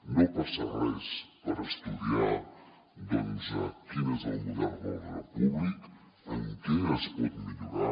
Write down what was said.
no passa res per estudiar doncs quin és el model d’ordre públic en què es pot millorar